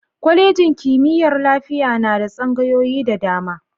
Kwalejin kimiyyar lafiya na da tsangayoyi da dama.